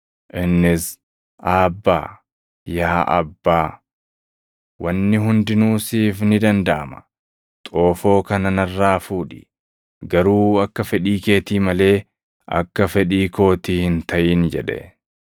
Innis, “\+tl Aabbaa,\+tl* + 14:36 Afaan Araamaayikiitiin abbaa jechuu dha. yaa Abbaa, wanni hundinuu siif ni dandaʼama. Xoofoo kana narraa fuudhi. Garuu akka fedhii keetii malee akka fedhii kootii hin taʼin” jedhe.